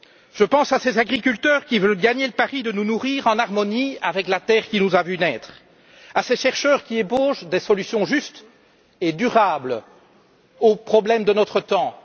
Je pense à ces agriculteurs qui veulent gagner le pari de nous nourrir en harmonie avec la terre qui nous a vus naître, à ces chercheurs qui ébauchent des solutions justes et durables aux problèmes de notre temps.